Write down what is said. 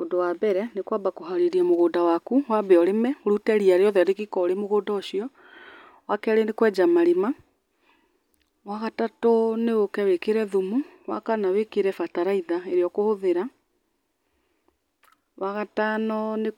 Undũ wa mbere nĩ kwamba kũharĩrĩa mũgũnda wambe ũrĩme ũrute riya o rĩothe rĩrĩ mũgũnda ũcio. Wakerĩ nĩ kwenja marima. Wagatatũ nĩ ũke wĩkĩre thumu. Wakana wĩkĩre bataraitha ĩrĩa ũkũhũthĩra. Wagatano nĩ